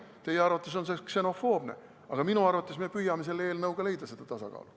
Teie arvates on see ksenofoobne, aga minu arvates püüame me selle eelnõuga leida seda tasakaalu.